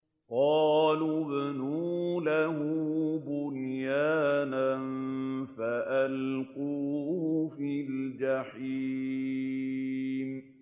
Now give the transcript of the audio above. قَالُوا ابْنُوا لَهُ بُنْيَانًا فَأَلْقُوهُ فِي الْجَحِيمِ